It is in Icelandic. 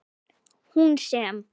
Hún sem.